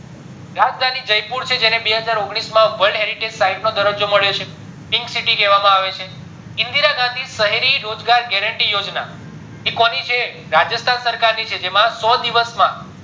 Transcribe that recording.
રાજધાની જયપુર છે જેને બેહજાર ઓગણીસ માં world heritage site નો દરરજો મળ્યો છે pink city કેવા આવે છે ઇન્દીરી ગાંધી સહ્રેઈ guarentee યોજના એ કોની છે રાજસ્થાન સરકાર ની છે જેની અંદર સો દિવસ માં